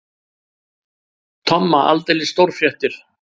Tomma aldeilis stórfréttir.